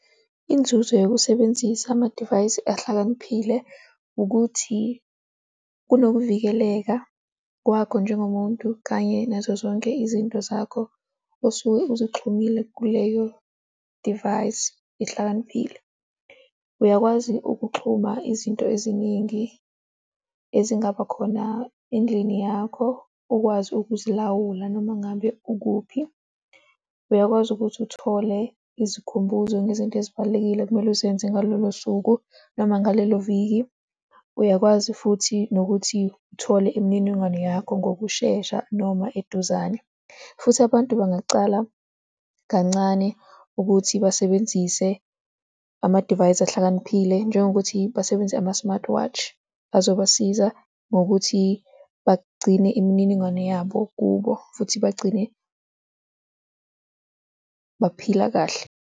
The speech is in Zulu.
Inzuzo yokusebenzisa amadivayisi ahlakaniphile, ukuthi kunokuvikeleka kwakho njengomuntu kanye nazo zonke izinto zakho osuke uzixhumile kuleyo divayisi ehlakaniphile. Uyakwazi ukuxhuma izinto eziningi ezingaba khona endlini yakho ukwazi ukuzilawula noma ngabe ukuphi, uyakwazi ukuthi uthole izikhumbuzo ngezinto ezibalulekile okumele uzenze ngalolo suku noma ngalelo viki, uyakwazi futhi nokuthi uthole imininingwane yakho ngokushesha noma eduzane. Futhi abantu bangacala kancane ukuthi basebenzise amadivayisi ahlakaniphile njengokuthi basebenzise ama-smart watch azobasiza ngokuthi bagcine imininingwane yabo kubo, futhi bagcine baphila kahle.